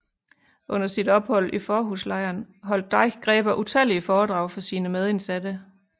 Under sit ophold i Fårhuslejren holdt Deichgräber utallige foredrag for sine medindsatte